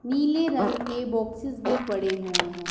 नीले रंग के बॉक्सेस भी पड़े हुए हैं।